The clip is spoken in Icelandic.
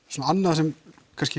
svona annað sem